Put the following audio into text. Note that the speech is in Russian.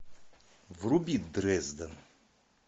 вруби дрезден